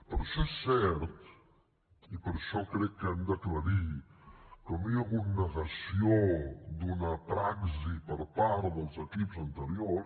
per això és cert i per això crec que ho hem d’aclarir que no hi ha hagut negació d’una praxi per part dels equips anteriors